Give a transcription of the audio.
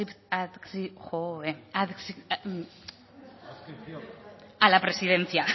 adscripción a la presidencia